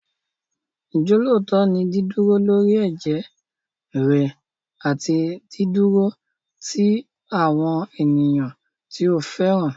Ìjọ́lóòótọ́ ni dídúró lórí ẹ̀jẹ́ rẹ àti dídúró ti àwọn ènìyàn tí o fẹ́ràn.